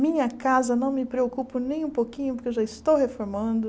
Minha casa, não me preocupo nem um pouquinho, porque eu já estou reformando.